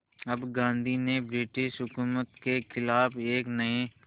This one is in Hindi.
अब गांधी ने ब्रिटिश हुकूमत के ख़िलाफ़ एक नये